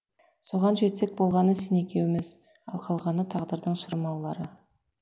соған жетсек болғаны сен екеуіміз ал қалғаны тағдырдың шырмаулары